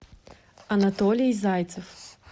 анатолий зайцев